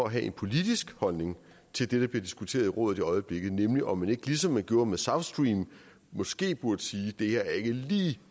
at have en politisk holdning til det der bliver diskuteret i rådet i øjeblikket nemlig om man ikke ligesom man gjorde med south stream måske burde sige det her er ikke lige